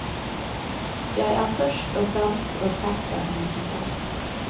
Jeg er først og fremst orkestermusiker.